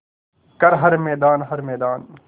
कर हर मैदान हर मैदान